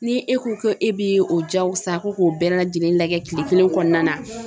Ni e ko ko e b'o jagosa ko k'o bɛɛ lajɛlen lajɛ kile kelen kɔnɔna na.